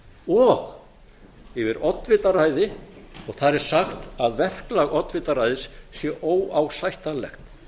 og yfir oddvitaræði og þar er sagt að verklag oddvitaræðis sé óásættanlegt